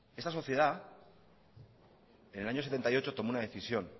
esta sociedad en el año mil novecientos setenta y ocho tomó una decisión